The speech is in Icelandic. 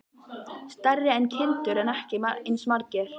Stærri en kindur en ekki eins margir.